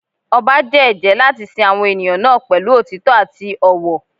Ọba jẹ́ ẹ̀jẹ́ láti sin àwọn ènìyàn náà pẹ̀lú òtítọ́ àti ọ̀wọ̀.